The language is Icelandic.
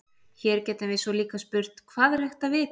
Hér getum við svo líka spurt: Hvað er hægt að vita?